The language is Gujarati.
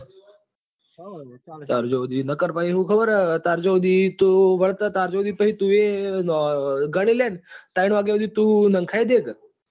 નકર પહિ હું ખબર સુધી તો તું વળતે ત્યાર્જો સુધી તું ઘણી લે ને ત્રણ વાગ્યા સુધી તું નખાઇ દેક